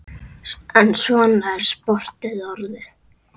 En svona er sportið orðið.